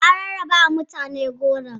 An rarrabawa mutane goron.